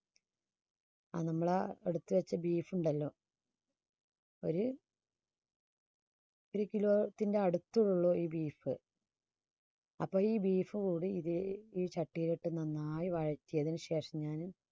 നമ്മളാ എടുത്തുവെച്ച beef ുണ്ടല്ലോ ഒരു kilo ത്തിന്റെ അടുത്തുള്ള ഒരു beef അപ്പോഴി beef ും കൂടി ഇത് ഈ ചട്ടിയിൽ ഇട്ട് നന്നായി വയറ്റിയതിനുശേഷം ഞാന്